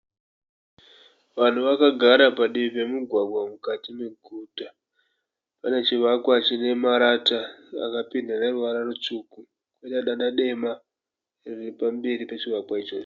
Vanhu vakagara padivi pemugwagwa mukati meguta. Pane chivakwa chonemarata akapendwa veruvara rutsvuku pene danda dema riripamberi pechovakwa ichocho.